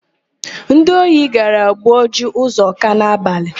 Ndi ohi gara gwuo ji Ụzọka n'abalị.